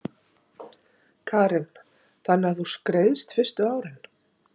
Karen: Þannig að þú skreiðst fyrstu árin?